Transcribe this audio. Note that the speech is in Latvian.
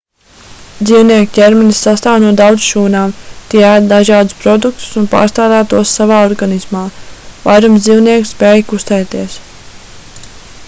dzīvnieku ķermenis sastāv no daudz šūnām tie ēd dažādus produktus un pārstrādā tos savā organismā vairums dzīvnieku spēj kustēties